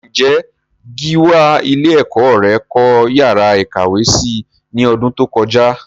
Ǹjé Gíwá ilé ẹ̀kọ́ rẹ kọ́ yàrá ìkàwé si ní ọdún tó kọjá?